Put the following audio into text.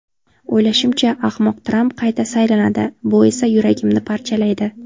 O‘ylashimcha, ahmoq Tramp qayta saylanadi, bu esa yuragimni parchalaydi.